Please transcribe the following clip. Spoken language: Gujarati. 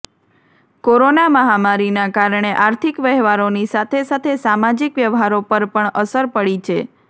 કોરોના મહામારીના કારણે આર્થિક વહેવારોની સાથે સાથે સામાજિક વ્યવહારો પર પણ અસર પડી છે